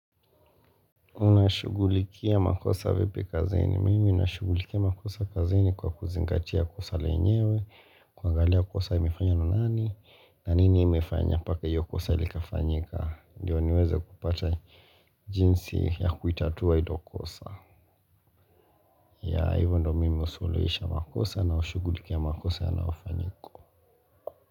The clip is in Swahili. Unashugulikia makosa vipi kazini, mimi unashugulikia makosa kazeni kwa kuzingatia kosa lenyewe, kuangalia kosa imefanya na nani, na nini imefanya paka hiyo kosa ilikafanyika, ndio niweze kupata jinsi ya kuitatua hilo kosa. Ya, hivyo ndo mimi usuluisha makosa na ushugulikia makosa yanao fanyika.